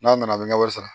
N'a nana an bɛ ɲɛ wari sara